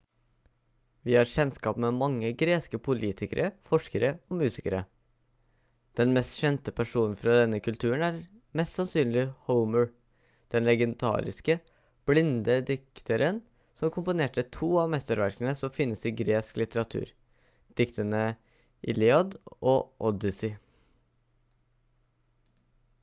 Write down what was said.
vi har kjennskap med mange greske politikere forskere og musikere den mest kjente personen fra denne kulturen er mest sannsynlig homer den legendariske blinde dikteren som komponerte to av mesterverkene som finnes i gresk litteratur diktene iliad og odyssey